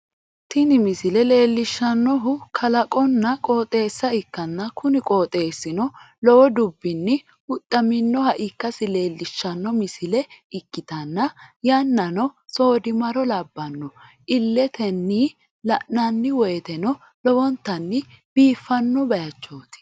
tini misile leellishshannohu kalaqonna qooxeeessa ikkanna, kuni qooxeeesino lowo dubbinni huxxaminoha ikkasi leellishshanno misile ikkitanna, yannano soodimaro labbanno, illetenni la'ananni woyteno lowontanni biifanno bayichooti.